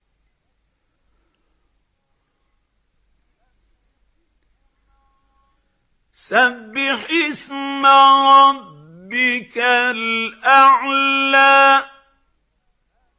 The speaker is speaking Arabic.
سَبِّحِ اسْمَ رَبِّكَ الْأَعْلَى